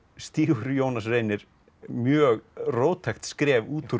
stígur Jónas Reynir mjög róttækt skref út úr